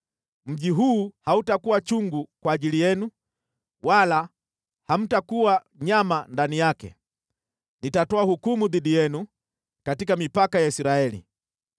Mji huu hautakuwa chungu kwa ajili yenu, wala hamtakuwa nyama ndani yake. Nitatoa hukumu dhidi yenu katika mipaka ya Israeli.